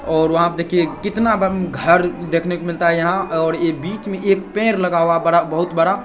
और वहाँ पे देखिए कितना घर देखने को मिलता है यहाँ और ये बीच में एक पेड़ लगा हुआ बड़ा बहुत बड़ा |